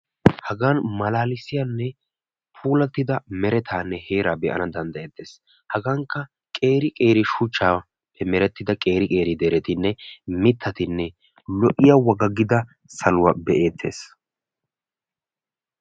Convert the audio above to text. Hagan malaalissiyanne pulattida meretaanne heeraa be'ana danddayetees. hagankka qeeri qeeri shuchchaappe merettida qeeri qeeri deretinne mitatinne lo'iya wagaggida saluwa be'eetees.